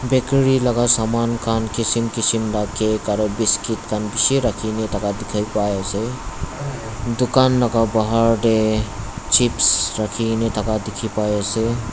bakery laka saman khan kishim kishim la cake aro biscuit khan bishi rakhina thaka dikhipaiase dukan laka bahar tae chips rakhikaena thaka dikhipaiase.